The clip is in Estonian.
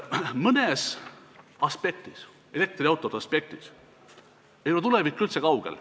Mõnes aspektis, näiteks elektriautod, ei ole tulevik üldse kaugel.